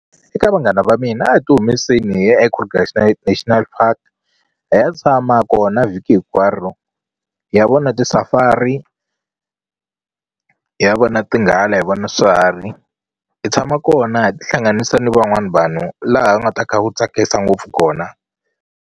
Eka vanghana va mina a hi ti humeseli hi ya eKruger National Park hi ya tshama kona vhiki hinkwaro hi ya vona ti safari hi ya vona tinghala hi vona swiharhi hi tshama kona hi tihlanganisa ni van'wani vanhu laha ku nga ta kha ku tsakisa ngopfu kona.